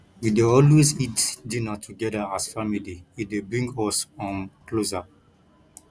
we dey always eat dinner togeda as family e dey bring us um closer